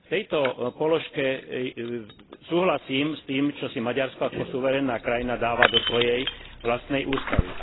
V tejto položke súhlasím s tým, čo si Maďarsko ako suverénna krajina dáva do svojej vlastnej ústavy.